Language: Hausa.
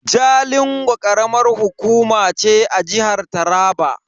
Jalingo karamar hukuma ce a jihar Taraba.